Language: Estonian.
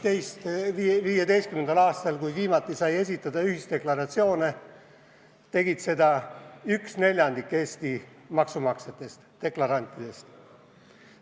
2015. aastal, kui viimati sai esitada ühisdeklaratsioone, tegi seda 1/4 Eesti maksumaksjatest, deklarantidest.